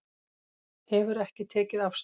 Hefur ekki tekið afstöðu